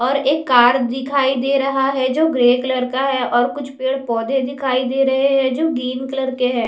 और एक कार दिखाई दे रहा है जो ग्रे कलर का है और कुछ पेड़ पौधे दिखाई दे रहे हैं जो गिन कलर के है।